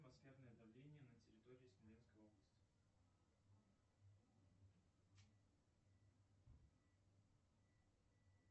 атмосферное давление на территории смоленской области